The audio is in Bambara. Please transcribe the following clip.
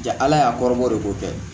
Ja ala y'a kɔrɔbɔ de ko kɛ